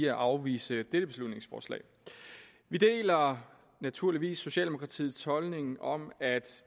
at afvise dette beslutningsforslag vi deler naturligvis socialdemokratiets holdning om at